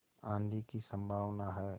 आँधी की संभावना है